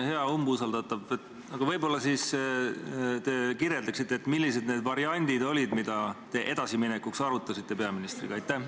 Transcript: Hea umbusaldatav, aga võib-olla te siis kirjeldate, millised need variandid olid, mida te edasiminekuks arutasite peaministriga?